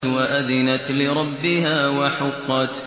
وَأَذِنَتْ لِرَبِّهَا وَحُقَّتْ